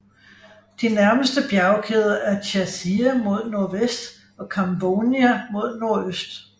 De nærmeste bjergkæder er Chasia mod nordvest og Kamvounia mod nordøst